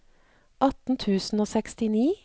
atten tusen og sekstini